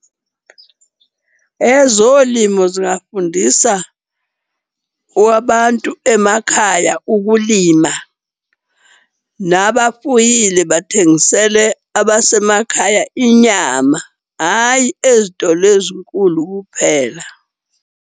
Ezolimo zingafundisa wabantu emakhaya ukulima, nabafuyile bathengisele abasemakhaya inyama. Hhayi ezitolo ezinkulu kuphela.